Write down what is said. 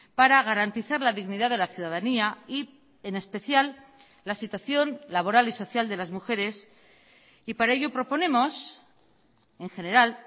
para garantizar la dignidad de la ciudadanía y en especial la situación laboral y social de las mujeres y para ello proponemos en general